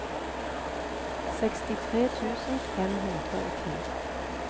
sekstitre tusen fem hundre og ti